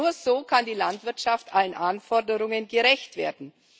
Nur so kann die Landwirtschaft allen Anforderungen gerecht werden.